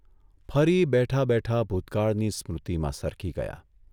ફરી બેઠા બેઠા ભૂતકાળની સ્મૃતિમાં સરકી ગયા.